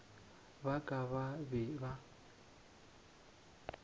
ba ka ba be ba